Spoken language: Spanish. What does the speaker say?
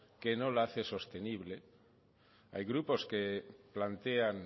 que no la hace sostenible hay grupos que plantean